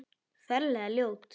Ferlega ljót.